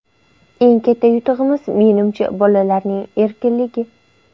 Eng katta yutug‘imiz, menimcha, bolalarning erkinligi.